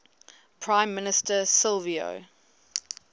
prime minister silvio